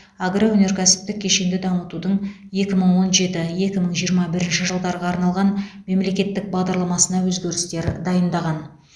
агроөнеркәсіптік кешенді дамытудың екі мың он жеті екі мың жиырма бірінші жылдарға арналған мемлекеттік бағдарламасына өзгерістер дайындаған